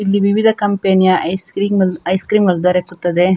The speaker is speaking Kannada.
ಇಲ್ಲಿ ವಿವಿಧ ಕಂಪೆನಿಯ ಐಸ್‌ ಕ್ರೀಮ್‌ ಐಸ್‌ ಕ್ರೀಮ್‌ಗಳು ದೊರಕುತ್ತದೆ.